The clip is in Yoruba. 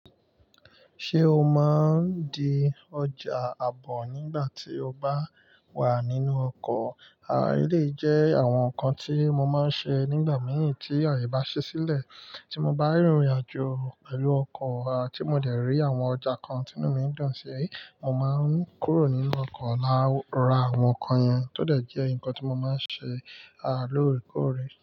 Ṣé o máa ń di ọjà àbọ̀ nígbà tí o bá wà nínú ọkọ̀? À elèyi jẹ́ àwọn nǹkan tí mo máa ń ṣe nígbà mìíràn tí ààyè bá ṣẹ́ sílẹ̀. Tí mo bá rìnrìn àjò pẹ̀lú ọkọ̀ àti mo dẹ̀ rí àwọn ọjà kan tí inú mi dùn sí, mo máa ń kúrò nínú ọkọ̀ lati ra àwọn nǹkan yẹn tó dẹ̀ jẹ́ nǹkan tí mo máa ń ṣe lóòrèkóòrè.